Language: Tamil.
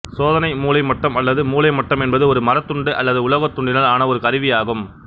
சோதனை மூலைமட்டம் அல்லது மூலைமட்டம் என்பது ஒரு மரத்துண்டு அல்லது உலோகதுண்டினால் ஆன ஒரு கருவி ஆகும்